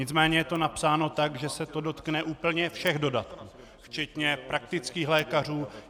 Nicméně je to napsáno tak, že se to dotkne úplně všech dodatků, včetně praktických lékařů.